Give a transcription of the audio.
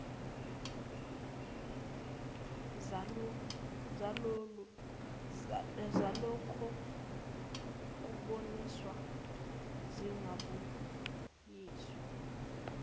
zalokho kubonisana zingabuyiswa